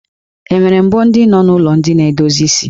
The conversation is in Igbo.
E nwere mbo ndị nọ n'ụlọ ndị na-edozi isi?